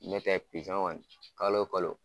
N'o tɛ pizɔn kɔni kalo kalo